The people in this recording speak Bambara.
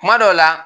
Kuma dɔw la